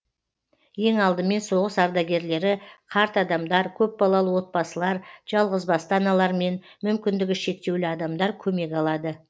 ең алдымен соғыс ардагерлері қарт адамдар көпбалалы отбасылар жалғызбасты аналар мен мүмкіндігі шектеулі адамдар көмек алады